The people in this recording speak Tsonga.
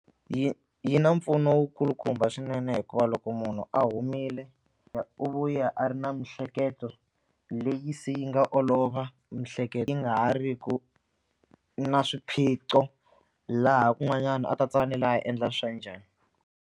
Yi yi na mpfuno wu kulukumba swinene hikuva loko munhu a humile u vuya a ri na miehleketo leyi se yi nga olova miehleketo yi nga ha ri ku na swiphiqo laha kun'wanyana a ta a endla swa njhani.